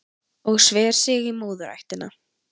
Og sver sig í móðurættina